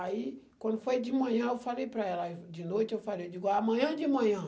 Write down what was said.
Aí, quando foi de manhã, eu falei para ela, de noite eu falei, digo, amanhã de manhã.